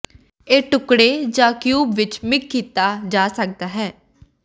ਇਹ ਟੁਕੜੇ ਜ ਕਿਊਬ ਵਿੱਚ ਮਿਗ ਕੀਤਾ ਜਾ ਸਕਦਾ ਹੈ